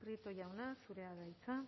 prieto jauna zurea da hitza